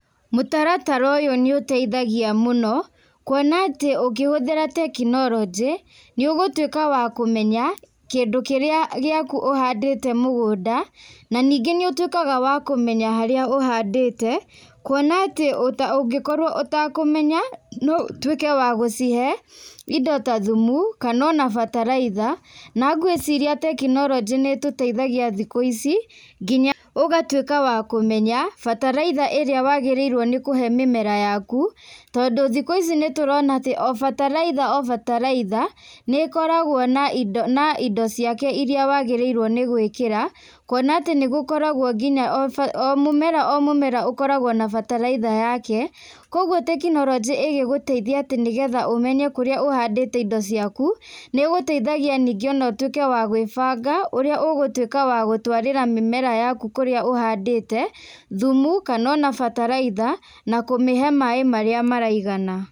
Mũtaratara ũyũ nĩ ũteithagia mũno. Kuona atĩ ũkĩhũthĩra teknoronjĩ, nĩ ũgũtuĩka wa kũmenya kĩndũ kĩrĩa gĩaku ũhandĩte mũgũnda. Na ningĩ nĩ ũtuĩkaga wa kũmenya harĩa ũhandĩte. Kuona atĩ ũngĩkorwo ũtakũmenya, no ũtuike wa gũcihe indo ta thumu, kana ona bataraitha. Na ngwiciria teknoronjĩ nĩ ĩtũteithagia thikũ ici, nginya ũgatuĩka wa kũmenya bataraitha ĩrĩa wagĩrĩirwo nĩ kũhe mĩmera yaku. Tondũ thikũ ici nĩ tũrona atĩ o bataraitha o bataraitha nĩkoragwo na indo, na indo ciake iria wagĩrĩirwo nĩ gwĩkĩra. Kuona atĩ nĩ gũkoragwo nginya o mũmera o mũmera ũkoragwo na bataraitha yake. Koguo teknoronjĩ igĩgũteithia atĩ nĩgetha ũmenye kũrĩa ũhandĩte indo ciaku, nĩ gũteithagia nĩngĩ o na ũtuĩke wa gwĩbanga ũrĩa ũgũtuĩka wa gũtwarĩra mĩmera yaku kũrĩa ũhandĩte, thumu, kana ona bataraitha, na kũmĩhe maĩ marĩa maraigana.